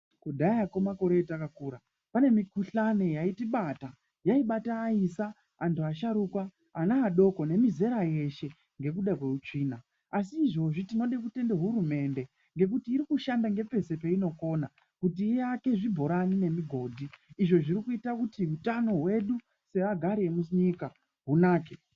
Kudhayako makore atakakura pane mikuhlani yaitibata yaibata aisa, asharuka, ana adoko nemizera yeshe ngekuda kweutsvina. Asi izvozvi tinode kutende hurumende ngekuti iri kushanda ngepese peinokona kuti iake zvibhorani nemigodhi. Izvo zvirikuita kuti utano hwedu seagari emunyika hunake.